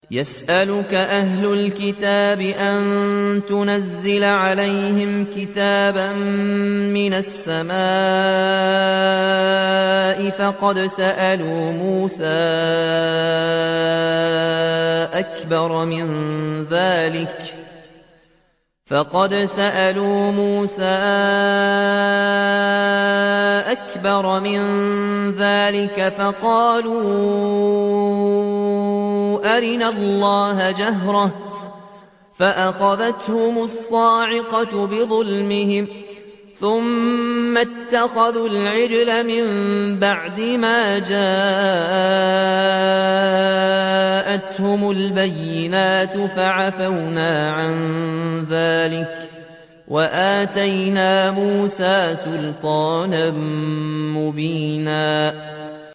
يَسْأَلُكَ أَهْلُ الْكِتَابِ أَن تُنَزِّلَ عَلَيْهِمْ كِتَابًا مِّنَ السَّمَاءِ ۚ فَقَدْ سَأَلُوا مُوسَىٰ أَكْبَرَ مِن ذَٰلِكَ فَقَالُوا أَرِنَا اللَّهَ جَهْرَةً فَأَخَذَتْهُمُ الصَّاعِقَةُ بِظُلْمِهِمْ ۚ ثُمَّ اتَّخَذُوا الْعِجْلَ مِن بَعْدِ مَا جَاءَتْهُمُ الْبَيِّنَاتُ فَعَفَوْنَا عَن ذَٰلِكَ ۚ وَآتَيْنَا مُوسَىٰ سُلْطَانًا مُّبِينًا